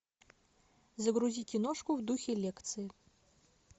загрузи киношку в духе лекции